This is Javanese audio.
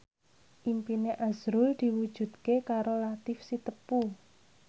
impine azrul diwujudke karo Latief Sitepu